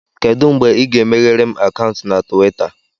Kedụ mgbe ị ga-emeghere m akaụntụ na Tuweeta?